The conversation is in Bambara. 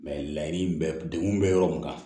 laɲini bɛ degun bɛ yɔrɔ mun kan